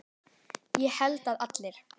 Ég held að allir.